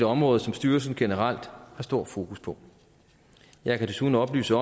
område som styrelsen generelt har stort fokus på jeg kan desuden oplyse